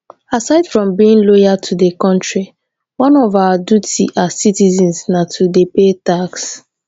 aside from being loyal to di country one of our duty as citizens na to dey pay tax